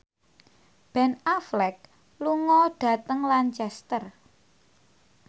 Ben Affleck lunga dhateng Lancaster